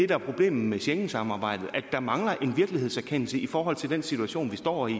der er problemet med schengensamarbejdet altså at der mangler en virkelighedserkendelse i forhold til den situation vi står i